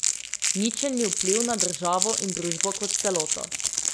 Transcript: Ničelni vpliv na državo in družbo kot celoto.